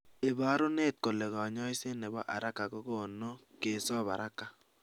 iporunot kole konyoiset nebo haraka kokonu kesop haraka